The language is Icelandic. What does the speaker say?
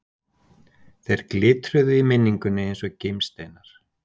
Þeir glitruðu í minningunni eins og gimsteinar.